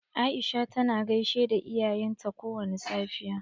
Aisha tana gaishe da iyayen ta kowani safiya.